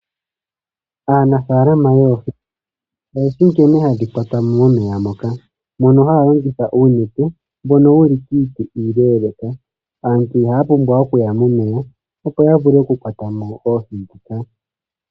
Aanafalama yoohi oyeshi nkene hadhi kwatwa mo momeya moka. Ohaya longitha uunete mbono wuli kiiti ileleka. Aantu ihaya pumbwa okuya momeya opo ya vule okukwata mo oohi ndhoka.